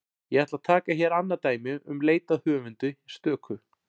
Ég ætla að taka hér annað dæmi um leit að höfundi stöku.